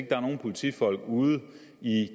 der er nogen politifolk ude i